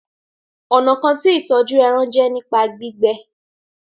Ọnà kán tí ìtọjú èràn jé nípa gbígbẹ